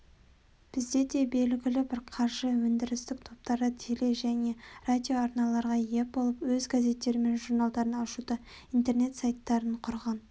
бізде де белгілі бір қаржы-өндірістік топтары теле және радиоарналарға ие болып өз газеттері мен журналдарын ашуда интернет-сайттарын құрған